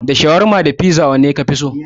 Da shawarma da fiza wanne kafi so?